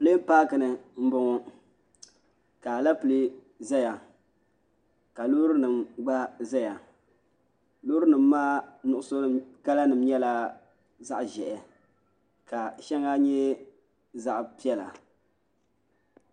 Pileen paaki ni n boŋɔ ka alɛpilɛ ʒɛya ka loori nim gba ʒɛya loori nim maa kala nim nyɛla zaɣ ʒiɛhi ka shɛŋa nyɛ zaɣ piɛla